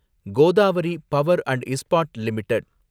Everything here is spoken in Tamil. Godavari power and Ispat limited